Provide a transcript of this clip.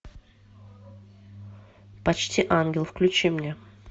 почти ангел включи мне